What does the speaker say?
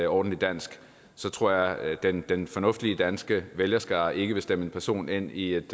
ordentlig dansk så tror jeg at den den fornuftige danske vælgerskare ikke vil stemme en person ind i et